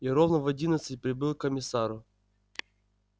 и ровно в одиннадцать прибыл к комиссару